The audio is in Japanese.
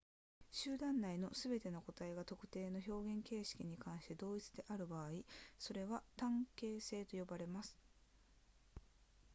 集団内のすべての個体が特定の表現形質に関して同一である場合それらは単形性と呼ばれます